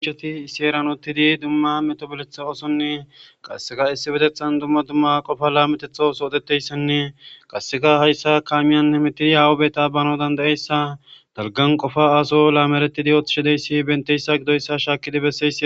iieti issi eeran uttidi dumma metoboletha oosonne qasseka issi betethan dumma dumma qofa laametetho soodeteyssanne qasseka hayssa kaamiyan nemitidi hawobeta bano dandayeyssa dalgan qofa aso laameretidi ooththishideyssi benteyssa gidoyssa shaakidi besse